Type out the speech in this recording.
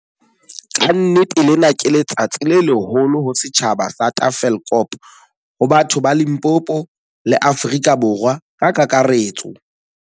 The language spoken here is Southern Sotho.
Ka nnete lena ke letsatsi le leholo ho setjhaba sa Ta-felkop, ho batho ba Limpopo, le Afrika Borwa ka kakaretso.